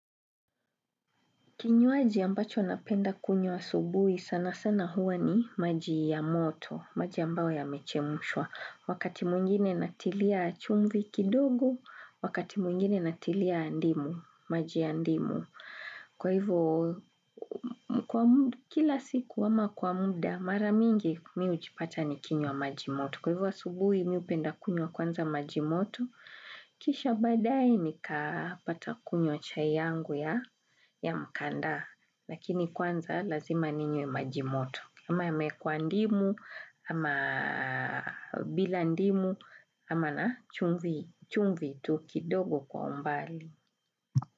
Kinyuaji ambacho napenda kunywa asubuhi, sanasana huwa ni maji ya moto, maji ambayo yamechemshwa. Wakati mwingine natilia chumvi kidogo, wakati mwingine natilia ndimu, maji ya ndimu. Kwa hivo, kila siku ama kwa muda, mara mingi mi hujipata nikinywa maji moto. Kwa hivo asubuhi mi hupenda kunywa kwanza maji moto, kisha baadae nikapata kunywa chai yangu ya mkandaa. Lakini kwanza lazima ninywe maji moto. Ama yamewekwa ndimu, ama bila ndimu, ama na chumvi tu kidogo kwa mbali.